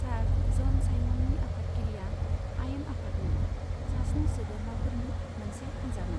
सार ज'न साइमननि आफादगिरियाव आयेन आफादनि सास्नि सोद्रोमाफोरनि मोनसे हानजामोन।